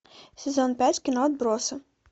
сезон пять кино отбросы